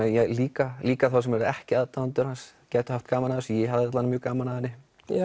líka líka þá sem eru ekki aðdáendur hans gætu haft gaman að þessu ég hafði mjög gaman að henni